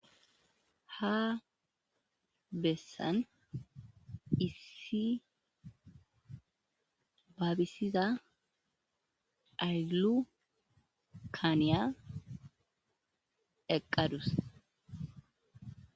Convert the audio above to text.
Ha bessan issi baabisiza aylu kaaniya eqqadus.